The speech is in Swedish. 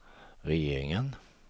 regeringen